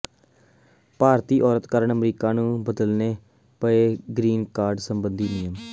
ਭਾਰਤੀ ਔਰਤ ਕਾਰਨ ਅਮਰੀਕਾ ਨੂੰ ਬਦਲਨੇ ਪਏ ਗ੍ਰੀਨ ਕਾਰਡ ਸਬੰਧੀ ਨਿਯਮ